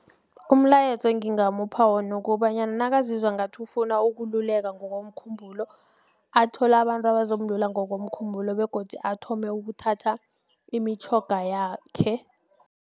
Umlayezo engingamupha wona ukobanyana nakazizwa ngathi ufuna ukululeka ngokomkhumbulo athole abantu abazomlula ngokomkhumbulo begodu athome ukuthatha imitjhoga yakhe.